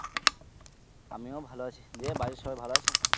আমিও ভালো আছি, দিয়ে বাড়ির সবাই ভালো আছে?